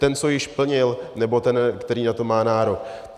Ten, co již plnil, nebo ten, který na to má nárok?